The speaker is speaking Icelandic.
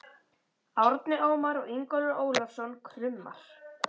Árni Ómar og Ingólfur Ólafsson: Krummar?